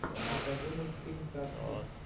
покажи мультфильм казки